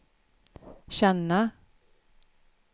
känna